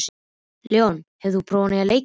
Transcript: Leon, hefur þú prófað nýja leikinn?